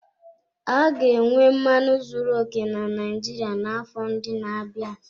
A ga-enwe mmanụ zuru oke na Naijiria n'afọ ndị na-abịa.